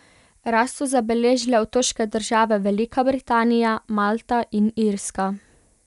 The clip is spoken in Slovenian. Rast so zabeležile otoške države Velika Britanija, Malta in Irska.